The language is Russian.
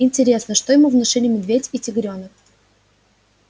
интересно что ему внушили медведь и тигрёнок